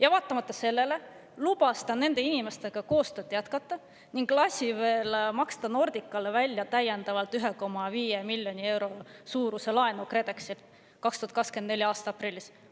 Aga vaatamata sellele lubas ta nende inimestega koostööd jätkata ning lasi veel maksta Nordicale välja täiendavalt 1,5 miljoni euro suuruse laenu KredExilt 2024. aasta aprillis.